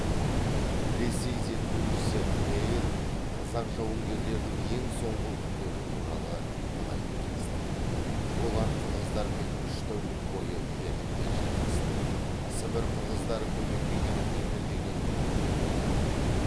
ресей зерттеушісі мейер қазақ жауынгерлерінің ең соңғы күндері туралы былай деп жазды олар қырғыздармен үш тәулік бойы ерлікпен шайқасты сібір қырғыздары көмекке келіп жетер деген үмітте болды